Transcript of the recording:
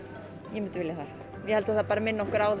ég myndi vilja það ég held að það bara minni okkur á